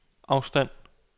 afstand